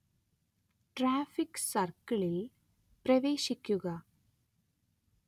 traffic സർക്കിളിൽ പ്രവേശിക്കുക